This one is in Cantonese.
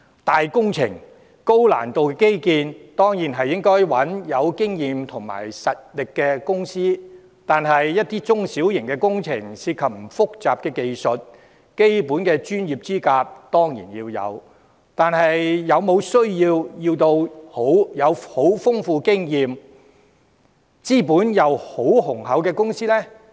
規模大、難度高的基建工程，當然要找有經驗有實力的公司承接，但一些中小型工程，涉及的技術不複雜，基本的專業資格當然需要，但是否一定要由經驗十分豐富、資本又十分雄厚的公司承辦？